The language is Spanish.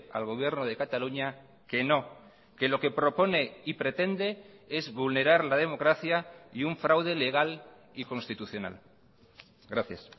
al gobierno de cataluña que no que lo que propone y pretende es vulnerar la democracia y un fraude legal y constitucional gracias